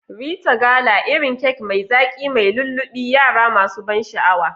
Rite gala, irin kek mai zaki mai lullubi, yara masu ban sha'awa.